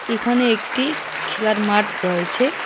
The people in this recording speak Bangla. এখানে একটি খেলার মাঠ রয়েছে।